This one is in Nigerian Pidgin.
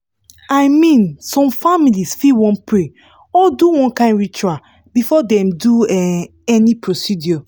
i mean some families fit wan pray or do one kind ritual before dem do um any procedure